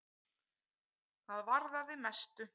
Það varðaði mestu.